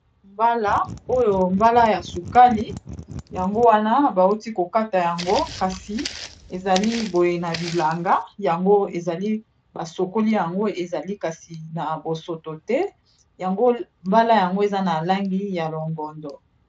Mbala oyo mbala ya sukali. Yango wana bauti ko kata yango. Kasi ezali boye na bilanga. Yango ezali ba sokoli yango ezali kasi na bosoto te. Mbala yango eza na langi ya longondo.